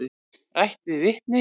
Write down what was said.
Rætt við vitni.